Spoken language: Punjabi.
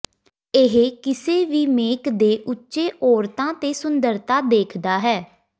ਇਹ ਕਿਸੇ ਵੀ ਮੇਕ ਦੇ ਉੱਚੇ ਔਰਤਾਂ ਤੇ ਸੁੰਦਰਤਾ ਦੇਖਦਾ ਹੈ